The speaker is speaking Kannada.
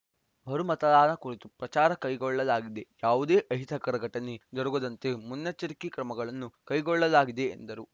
ಮರು ಮತದಾನ ಕುರಿತು ಪ್ರಚಾರ ಕೈಗೊಳ್ಳಲಾಗಿದೆ ಯಾವುದೇ ಅಹಿತಕರ ಘಟನೆ ಜರುಗದಂತೆ ಮುನ್ನೆಚ್ಚರಿಕೆ ಕ್ರಮಗಳನ್ನು ಕೈಗೊಳ್ಳಲಾಗಿದೆ ಎಂದರು